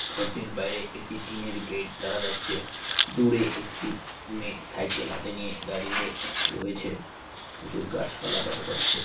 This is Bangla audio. ঘরটির বাইরে একটি টিনের গেট দেখা যাচ্ছে দূরে একটি মেয়েসাইকেল হাতে নিয়ে দাঁড়িয়ে রয়েছে প্রচুর গাছপালা দেখা যাচ্ছে।